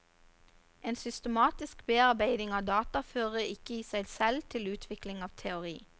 En systematisk bearbeiding av data fører ikke i seg selv til utvikling av teori.